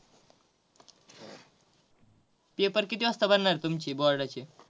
Paper किती वाजता भरणार आहेत तुमचे बोर्डाचे?